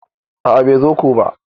A'a bai zo ko ba.